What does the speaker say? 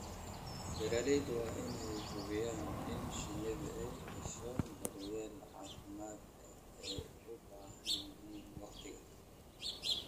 Beeralayda waa in ay hubiyaan in shinnidu ay hesho daryeelka caafimaad ee ay u baahan yihiin wakhtiga.